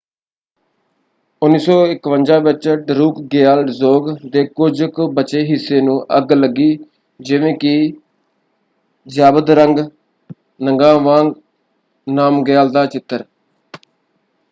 1951 ਵਿੱਚ ਡਰੂਕਗਿਆਲ ਡਜ਼ੋਂਗ ਦੇ ਕੁਝ ਕੁ ਬਚੇ ਹਿੱਸੇ ਨੂੰ ਅੱਗ ਲੱਗੀ ਜਿਵੇਂ ਕਿ ਜ਼ਾਬਦਰੰਗ ਨਗਾਵਾਂਗ ਨਾਮਗਿਆਲ ਦਾ ਚਿੱਤਰ।